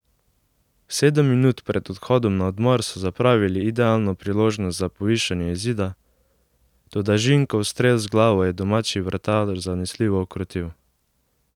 Sedem minut pred odhodom na odmor so zapravili idealno priložnost za povišanje izida, toda Žinkov strel z glavo je domači vratar zanesljivo ukrotil.